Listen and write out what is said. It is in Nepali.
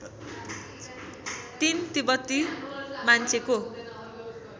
३ तिब्बती मान्छेको